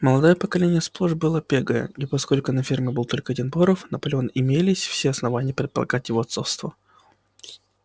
молодое поколение сплошь было пегое и поскольку на ферме был только один боров наполеон имелись все основания предполагать его отцовство